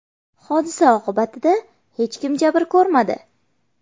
Hodisa oqibatida hech kim jabr ko‘rmadi.